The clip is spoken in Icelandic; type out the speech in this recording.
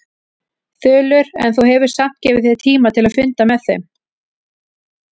Þulur: En þú hefur samt gefið þér tíma til að funda með þeim?